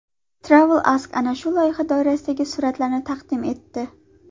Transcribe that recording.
TravelAsk ana shu loyiha doirasidagi suratlarni taqdim etdi .